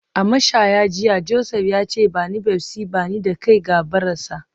A mashaya jiya, Joseph ya ce; ba ni Pepsi, ba ni da kai ga barasa